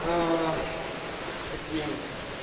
с таким